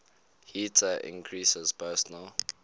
heater increases personal